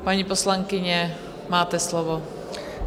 Paní poslankyně, máte slovo.